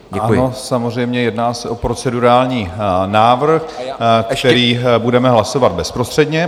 Ano, samozřejmě, jedná se o procedurální návrh, který budeme hlasovat bezprostředně.